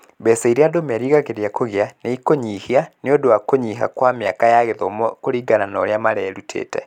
Mbeca iria andũ merĩgagĩrĩra kũgĩa nĩikũnyihĩa nĩ ũndũ wa kũnyiha kwa mĩaka ya gĩthomo kũringana na ũrĩa marerutĩte